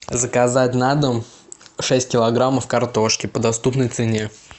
заказать на дом шесть килограмм картошки по доступной цене